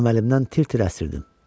Əməlimdən tir-tir əsirdim.